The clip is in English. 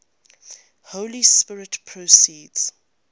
holy spirit proceeds